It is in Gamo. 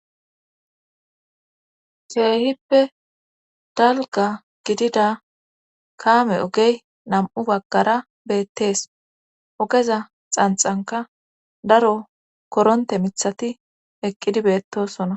keehippe dalga gidida kaame ogey nam7u baggara beettees ogeza xanxanka daro koronte mithati eqqidi beettosona